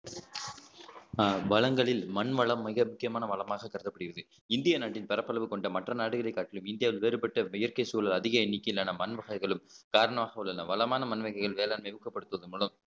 அஹ் வளங்களில் மண் வளம் மிக முக்கியமான வளமாக கருதப்படுகிறது இந்திய நாட்டின் பரப்பளவு கொண்ட மற்ற நாடுகளைக் காட்டிலும் இந்தியாவில் வேறுபட்ட இயற்கை சூழல் அதிக எண்ணிக்கையிலான மண் வகைகளும் காரணமாக உள்ளன வளமான மண் வகைகள் வேளாண்மையை ஊக்கப்படுத்துவதன் மூலம்